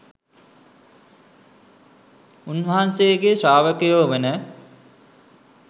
උන්වහන්සේ ශ්‍රාවකයෝ වන